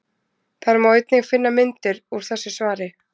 Þar má einnig finna myndir úr þessu svari.